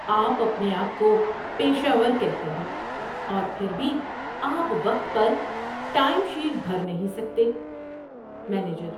آپ اپنے آپ کو پیشہ ور کہتے ہیں اور پھر بھی آپ وقت پر ٹائم شیٹ بھر نہیں سکتے۔ (مینیجر)